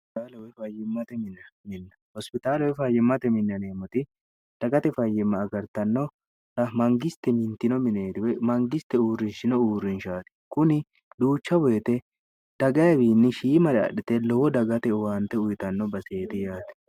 hospitaalowe fayyimmate mineem dagate fayyimma agartanno ra mangiste mintino mineeriwe mangiste uurrinshino uurrinshaati kuni duucha boyite dagaiwiinni shiimale adhite lowo dagate uwaante uyitanno baseeri yaati